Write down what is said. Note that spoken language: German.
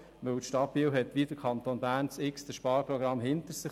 Die Stadt Biel hat wie der Kanton Bern unzählige Sparprogramme hinter sich.